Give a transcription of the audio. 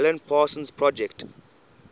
alan parsons project